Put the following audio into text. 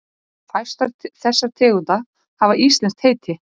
Fæstar þessara tegunda hafa íslenskt heiti.